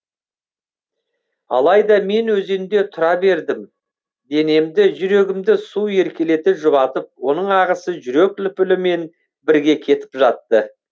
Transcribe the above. алайда мен өзенде тұра бердім денемді жүрегімді су еркелете жұбатып оның ағысы жүрек лүпілімен бірге кетіп жатты